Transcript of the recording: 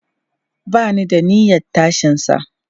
Ba ni da niyyan tashinsa.